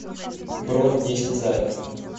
бронь десять заек